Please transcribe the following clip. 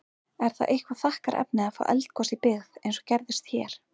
Er það eitthvað þakkarefni að fá eldgos í byggð, eins og gerðist hér?